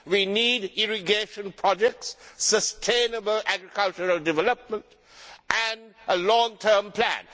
We need irrigation projects, sustainable agricultural development and a long term plan.